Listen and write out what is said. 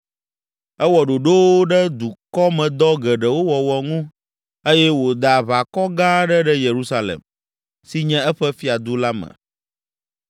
Ewɔ ɖoɖowo ɖe dukɔmedɔ geɖewo wɔwɔ ŋu eye wòda aʋakɔ gã aɖe ɖe Yerusalem, si nye eƒe fiadu la me.